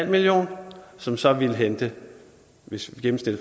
million kr som så ville hente hvis vi